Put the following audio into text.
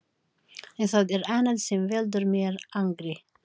En það er annað sem veldur mér angri.